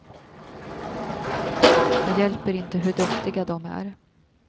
Det hjälper inte hur duktiga de är.